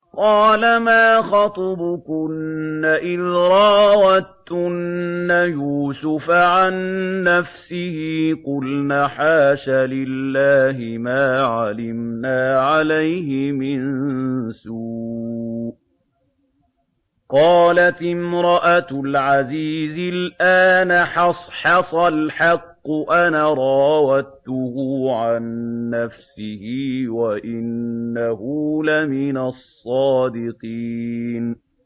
قَالَ مَا خَطْبُكُنَّ إِذْ رَاوَدتُّنَّ يُوسُفَ عَن نَّفْسِهِ ۚ قُلْنَ حَاشَ لِلَّهِ مَا عَلِمْنَا عَلَيْهِ مِن سُوءٍ ۚ قَالَتِ امْرَأَتُ الْعَزِيزِ الْآنَ حَصْحَصَ الْحَقُّ أَنَا رَاوَدتُّهُ عَن نَّفْسِهِ وَإِنَّهُ لَمِنَ الصَّادِقِينَ